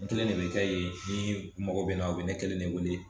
N kelen de bɛ kɛ yen ni mɔgɔ bɛ n na o bɛ ne kelen ne wele